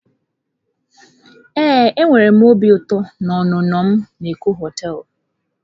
Ee enwere m obi ụtọ na ọnụnọ m na Eko hoteelu.